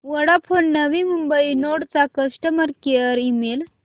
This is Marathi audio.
वोडाफोन नवी मुंबई नोड चा कस्टमर केअर ईमेल